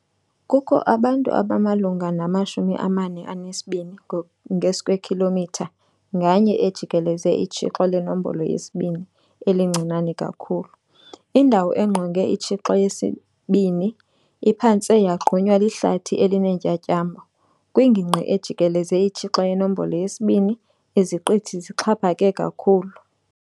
Kukho abantu abamalunga nama-42 ngeskwekhilomitha nganye ejikeleze iTshixo leNombolo yesi-2 elincinane kakhulu. Indawo engqonge iTshixo yesi-2 iphantse yagqunywa lihlathi elineentyatyambo Kwingingqi ejikeleze iTshixo yeNombolo yesi-2, iziqithi zixhaphake kakhulu.